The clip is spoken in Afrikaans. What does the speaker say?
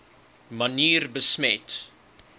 manier besmet